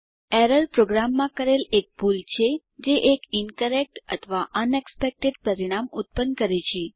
error પ્રોગ્રામમાં કરેલ એક ભૂલ છે જે એક ઇન્કરેક્ટ અથવા અનએક્સપેક્ટેડ પરિણામ ઉત્પન્ન કરે છે